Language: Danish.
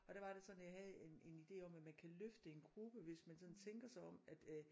Og der var det sådan jeg have en en idé om at man kan løfte en gruppe hvis man sådan tænker sig om at øh